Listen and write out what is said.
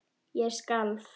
Ég skalf.